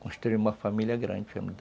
Construí uma família grande, foi muita